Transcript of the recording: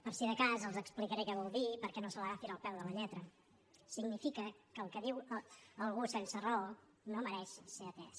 per si de cas els explicaré què vol dir perquè no se l’agafin al peu de la lletra significa que el que diu algú sense raó no mereix ser atès